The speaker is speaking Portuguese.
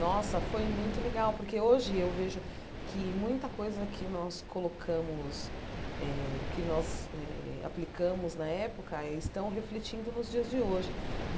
Nossa, foi muito legal, porque hoje eu vejo que muita coisa que nós colocamos eh, que nós eh aplicamos na época, estão refletindo nos dias de hoje.